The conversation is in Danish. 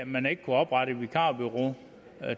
man kunne oprette et vikarbureau